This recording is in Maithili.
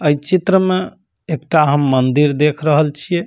ए चित्र में एकटा हम मंदिर देख रहल छीये।